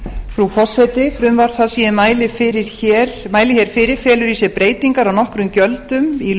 frú forseti frumvarp það sem ég mæli hér fyrir felur í sér breytingar á nokkrum gjöldum í